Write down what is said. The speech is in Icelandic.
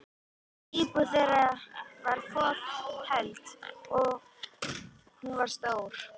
Íbúðin þeirra var fokheld, og hún var stór.